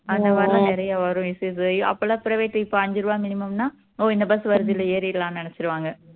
அந்த மாதிரி எல்லாம் நிறைய வரும் issues அப்போயெல்லாம் private இப்போ அஞ்சு ரூபா minimum னா ஓ இந்த bus வருது இதுல ஏறிடலாம்னு நினைச்சுருவாங்க